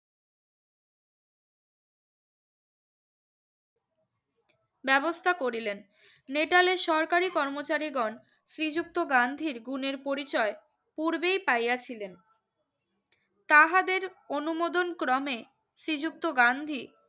ব্যবস্থা করিলেন নেটালের সরকারি কর্মচারী গন শ্রী যুক্ত গাঁন্ধীর গুনের পরিচয় পূর্বেই পাইয়াছিলেন তাহাদের অনুমোদম ক্রমে শ্রী যুক্ত গান্ধী